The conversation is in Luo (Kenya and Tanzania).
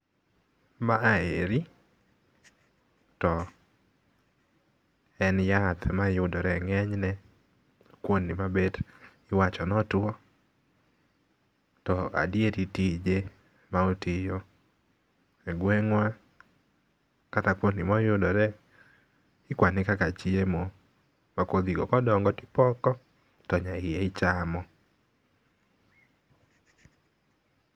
Maeri to en yath mayudore e ng'eny ne kuonde ma bet iwacho notuo, to adieri tije maotiyo egweng'wa kata kuonde moyudore ikwane kaka chiemo. To kodhigo kodongo tipoko, to kodhigo ichamo.